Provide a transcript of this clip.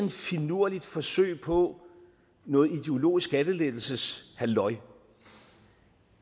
finurligt forsøg på noget ideologisk skattelettelseshalløj